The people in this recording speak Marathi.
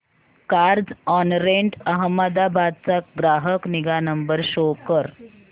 कार्झऑनरेंट अहमदाबाद चा ग्राहक निगा नंबर शो कर